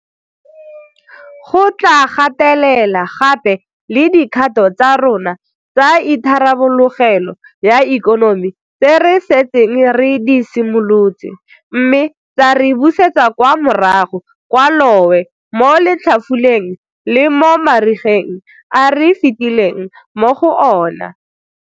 Go tla gatelela gape le dikgato tsa rona tsa itharabologelo ya ikonomi tse re setseng re di simolotse, mme tsa re busetsa kwa morago kwa lowe mo letlhafuleng le mo marigeng a re fitileng mo go ona.